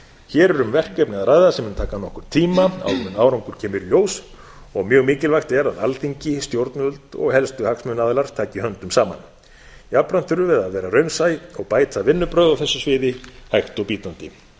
hér er um verkefni að ræða sem mun taka nokkurn tíma áður en árangur kemur í ljós og mjög mikilvægt er að alþingi stjórnvöld og helstu hagsmunaaðilar taki höndum saman jafnframt þurfum við að vera raunsæ og bæta vinnubrögð á þessu sviði hægt og bítandi